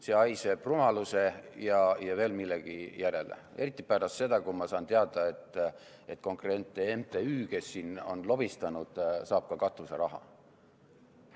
See haiseb rumaluse ja veel millegi järele, eriti pärast seda, kui ma sain teada, et konkreetne MTÜ, kes siin on lobistanud, saab ka katuseraha.